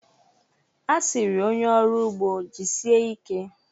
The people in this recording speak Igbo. A sịrị onye ọrụ ugbo, "Jisie ike"